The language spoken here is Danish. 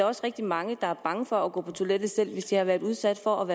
også rigtig mange der er bange for at gå på toilettet selv hvis de har været udsat for